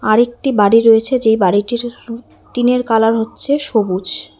আরেকটি বাড়ি রয়েছে যেই বাড়িটির টিনের কালার হচ্ছে সবুজ।